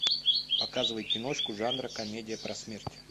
показывай киношку жанра комедия про смерть